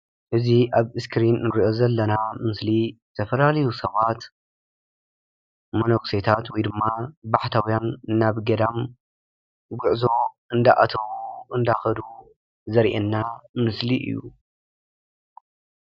እዚ ኣብ እስክሪን እንረእዮ ዘለና ምስሊ ዝተፈላለዩ ሰባት መነኩሴታት ወይድማ ባሕታውያን ናብ ገዳም ጉዑዞ አንደኣተው፣ እንዳከዱ ዘርእየና ምስሊ እዩ።